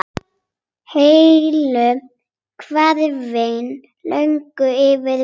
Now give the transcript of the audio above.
Heilu hverfin lögðust yfir melana.